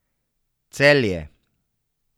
Celje.